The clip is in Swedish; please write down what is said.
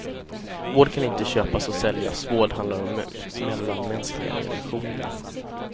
Vård kan inte köpas och säljas, vård handlar om mellanmänskliga relationer.